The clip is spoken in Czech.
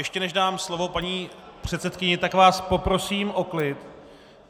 Ještě, než dám slovo paní předsedkyni, tak vás poprosím o klid!